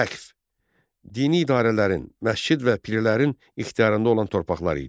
Vəqf, dini idarələrin, məscid və pirlərin ixtiyarında olan torpaqlar idi.